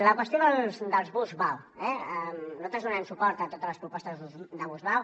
la qüestió dels bus vao eh nosaltres donarem suport a totes les propostes de bus vao